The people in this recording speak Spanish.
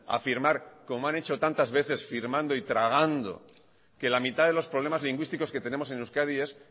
a firmar como han hecho tantas veces firmando y tragando que la mitad de los problemas lingüísticos que tenemos en euskadi es